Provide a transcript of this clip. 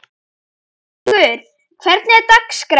Kjallakur, hvernig er dagskráin?